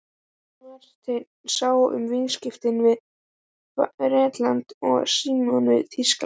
Marteinn sá um viðskipti við Bretland og Símon við Þýskaland.